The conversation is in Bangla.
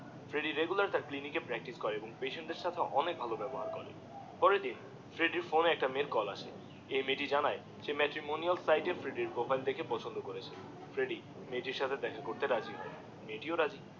ফ্রেডিডিএ রেগুলার ক্লিনিকে প্রাকটিস করে এবং পেশেন্ট দেড় সাথে অনেক ভালো ব্যবহার করে পরের দিন ফ্রেড্ডির ফোন একটি মেয়েদের কল আসে এই মেয়েটি জানায় শে ম্যাট্রিমোনিয়াল সাইট থেকে ফ্রেডিডিএর প্রোফাইল দেখে পছন্দ করেছে ফ্রেডিডিএ মেয়েটি সাথে দেখা করতে রাজি হয়ে মেয়েটিও রাজি হয়ে